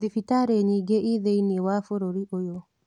Thibitarĩnĩnyingĩthĩ-inĩe wa bũrũri ũyũ.